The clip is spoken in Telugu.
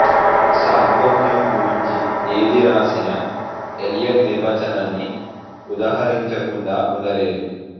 సాహొత్యం గురుంచి ఏది వ్రాసినా ఎలియట్ నిర్వచనాన్ని ఉదహరించకుండా ఉండలేరు